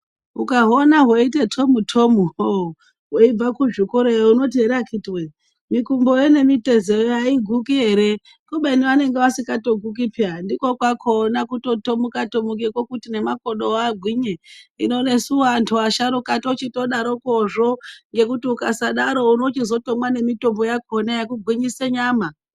Ukahuona hweite tomu tomu hooo hweibva kuzvikora yoo unoti akiti weee mikumboyoo nemitezo yoo aiguki ere kubeni vanenge vasingatoguki peya ndiko kwakona kutotomuka tomuka makodo agwinye . Hino nesuwo antu asharuka tochitodarokozvo ngekuti ukasadaro unochizotomwa nemitombo yakona yekugwinyisa nyama.